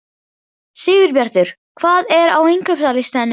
Sigurbjartur, hvað er á innkaupalistanum mínum?